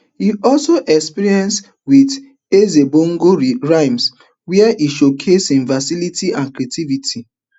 e also experiment wit ezebongo rhythms wey e showcase hin versatility and creativity